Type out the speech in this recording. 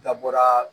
N da bɔra